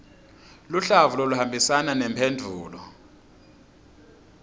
luhlavu loluhambisana nemphendvulo